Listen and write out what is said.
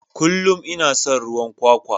Kullum ina son ruwan kwakwa.